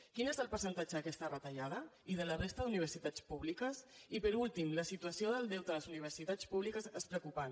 quin és el percentatge d’aquesta retallada i de la resta d’universitats públiques i per últim la situació del deute a les universitats públiques és preocupant